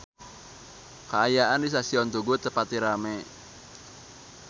Kaayaan di Stasiun Tugu teu pati rame